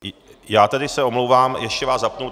Já se tedy omlouvám, ještě vás zapnu.